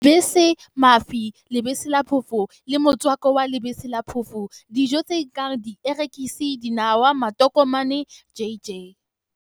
Lebese, mafi, lebese la phofo le motswako wa lebese la phofo Dijo tse kang dierekisi, dinawa, matokomane, jj.